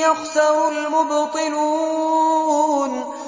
يَخْسَرُ الْمُبْطِلُونَ